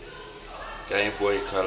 game boy color